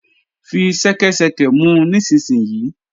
Fi ṣẹ́kẹ́ṣẹkẹ̀ mu nísinsìnyí!